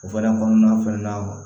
O fɛnɛ kɔnɔna fɛnɛ na